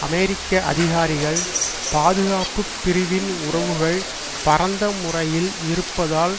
அமெரிக்க அதிகாரிகள் பாதுகாப்பு பிரிவின் உறவுகள் பரந்த முறையில் இருப்பதால்